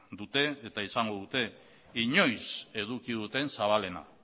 dute eta izango dute inoiz eduki duten zabalena